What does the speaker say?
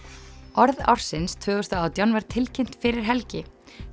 orð ársins tvö þúsund og átján var tilkynnt fyrir helgi